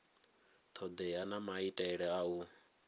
thodea na maitele a u